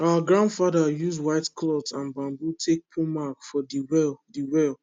our grandfather use white cloth and bamboo take put mark for de well de well